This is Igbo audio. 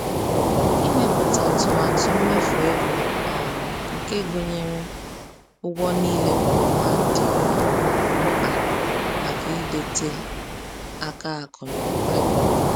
Ịmepụta atụmatụ mmefu ego um nke gụnyere ụgwọ niile kwa ọnwa dị mkpa maka ịdịte aka akụ na ụba.